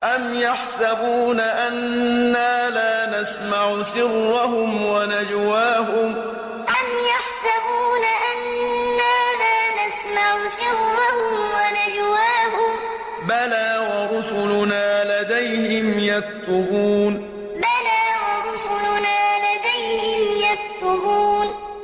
أَمْ يَحْسَبُونَ أَنَّا لَا نَسْمَعُ سِرَّهُمْ وَنَجْوَاهُم ۚ بَلَىٰ وَرُسُلُنَا لَدَيْهِمْ يَكْتُبُونَ أَمْ يَحْسَبُونَ أَنَّا لَا نَسْمَعُ سِرَّهُمْ وَنَجْوَاهُم ۚ بَلَىٰ وَرُسُلُنَا لَدَيْهِمْ يَكْتُبُونَ